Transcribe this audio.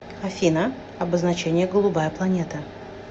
афина обозначение голубая планета